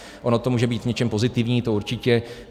Ono to může být něčím pozitivní, to určitě.